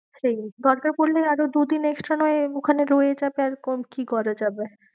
সেই দরকার পড়লে আরো দু দিন extra না হয় ওখানে রয়ে যাবে আর কি করা যাবে।